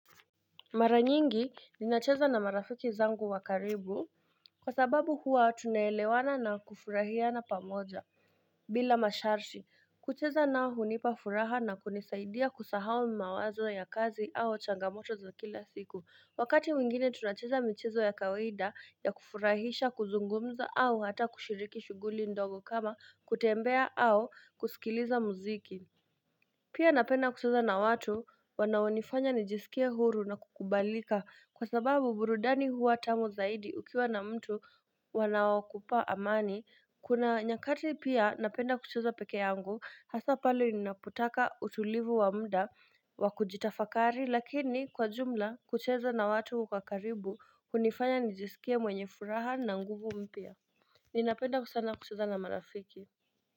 Mara nyingi ninacheza na marafiki zangu wakaribu Kwa sababu huwa tunaelewana na kufurahia na pamoja bila masharti kucheza nao hunipa furaha na kunisaidia kusahau mawazo ya kazi au changamoto za kila siku wakati mwingine tunacheza michezo ya kawida ya kufurahisha kuzungumza au hata kushiriki shuguli ndogo kama kutembea au kusikiliza muziki Pia napenda kucheza na watu wanaonifanya nijisikie huru na kukubalika kwa sababu burudani huwa tamu zaidi ukiwa na mtu wanaokupa amani Kuna nyakati pia napenda kuchuza peke yangu hasa pale ninapotaka utulivu wa mda wakujitafakari lakini kwa jumla kuchuza na watu ukakaribu hunifanya nijisikia mwenye furaha na nguvu mpya Ninapenda kusana kucheza na marafiki.